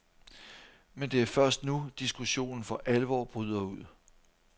Men det er først nu, diskussionen for alvor bryder ud.